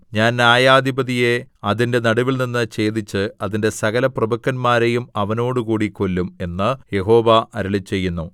ഞാൻ ന്യായാധിപതിയെ അതിന്റെ നടുവിൽനിന്ന് ഛേദിച്ച് അതിന്റെ സകലപ്രഭുക്കന്മാരെയും അവനോടുകൂടി കൊല്ലും എന്ന് യഹോവ അരുളിച്ചെയ്യുന്നു